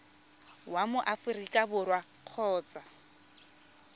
wa mo aforika borwa kgotsa